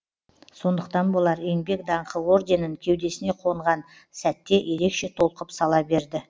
сондықтан болар еңбек даңқы орденін кеудесіне қонған сәтте ерекше толқып сала берді